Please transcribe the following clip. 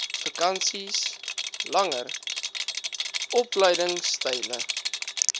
vakansies langer opleidingstye